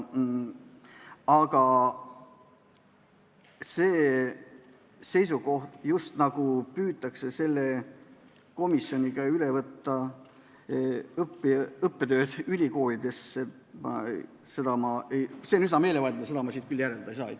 Aga see seisukoht, nagu püütaks selle komisjoniga üle võtta õppetööd ülikoolides, on üsna meelevaldne, seda ma siit küll järeldada ei saa.